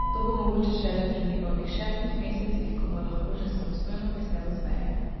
To bo mogoče šele pri njegovih šestih mesecih, ko bo lahko že samostojno visel z veje.